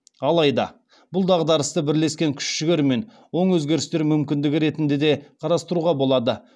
алайда бұл дағдарысты бірлескен күш жігермен оң өзгерістер мүмкіндігі ретінде де қарастыруға болады